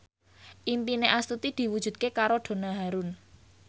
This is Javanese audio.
impine Astuti diwujudke karo Donna Harun